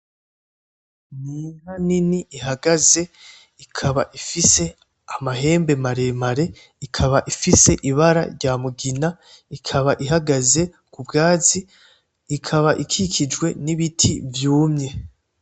Inka nini ihagaze ikaba ifise amahembe maremare, ikaba ifise ibara rya Mugina. Ikaba ihagaze ku bwatsi. Ikaba ikikijwe n'ibiti vyumye.